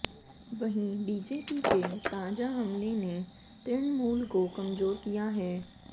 वहीं बीजेपी के ताजा हमले ने तृणमूल को कमजोर किया है